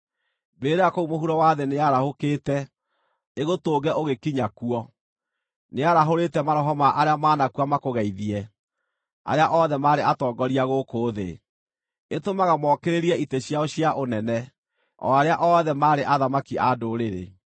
Mbĩrĩra kũu mũhuro wa thĩ nĩyarahũkĩte, ĩgũtũnge ũgĩkinya kuo; nĩyarahũrĩte maroho ma arĩa maanakua makũgeithie: arĩa othe maarĩ atongoria gũkũ thĩ; ĩtũmaga mookĩrĩrie itĩ ciao cia ũnene, o arĩa othe maarĩ athamaki a ndũrĩrĩ.